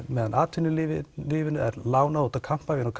meðan atvinnulífinu er lánað út á kampavín og